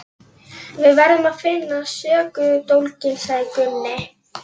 Við verðum að FINNA SÖKUDÓLGINN, sagði Gunni.